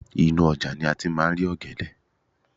inú ojà ni a ti ma ri ògèdè